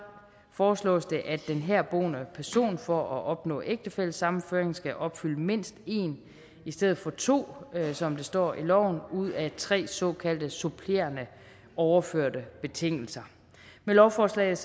foreslås det at den herboende person for at opnå ægtefællesammenføring skal opfylde mindst en i stedet for to som det står i loven ud af tre såkaldte supplerende overførte betingelser med lovforslaget